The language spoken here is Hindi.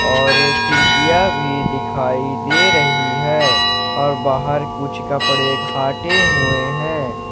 और खिड़कियां भी दिखाई दे रही है और बाहर कुछ कपड़े खाटे हुए हैं।